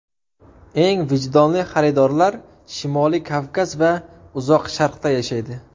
Eng vijdonli xaridorlar Shimoliy Kavkaz va Uzoq Sharqda yashaydi.